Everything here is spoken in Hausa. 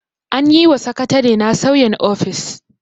An yi wa sakatarena sauyin ofis.